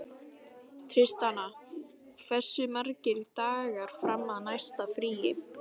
Tristana, hversu margir dagar fram að næsta fríi?